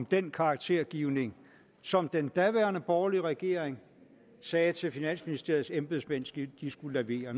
den karaktergivning som den daværende borgerlige regering sagde til finansministeriets embedsmænd at de skulle levere